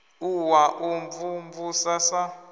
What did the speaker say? u wa u mvumvusa sa